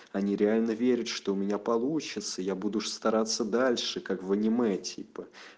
они реально верят что у меня получится я буду ж стараться дальше как в аниме типа